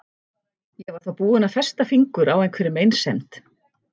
Ég var þá búin að festa fingur á einhverri meinsemd.